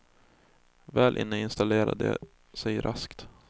Väl inne instalerar de sig raskt.